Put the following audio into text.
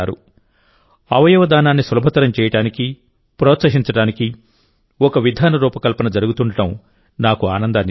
అవయవ దానాన్ని సులభతరం చేయడానికి ప్రోత్సహించడానికి ఒక విధాన రూపకల్పన జరుగుతుండడం నాకు ఆనందాన్నిస్తోంది